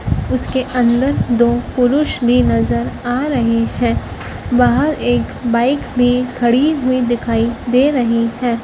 उसके अंदर दो पुरुष भी नजर आ रहे हैं बाहर एक बाइक भी खड़ी हुई दिखाई दे रही है।